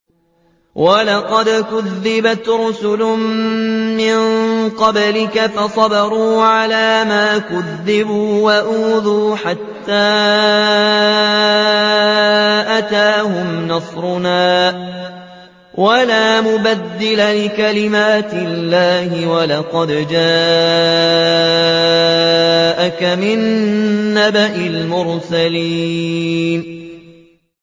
وَلَقَدْ كُذِّبَتْ رُسُلٌ مِّن قَبْلِكَ فَصَبَرُوا عَلَىٰ مَا كُذِّبُوا وَأُوذُوا حَتَّىٰ أَتَاهُمْ نَصْرُنَا ۚ وَلَا مُبَدِّلَ لِكَلِمَاتِ اللَّهِ ۚ وَلَقَدْ جَاءَكَ مِن نَّبَإِ الْمُرْسَلِينَ